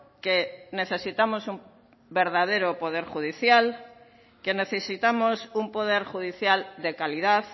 que necesitamos un verdadero poder judicial que necesitamos un poder judicial de calidad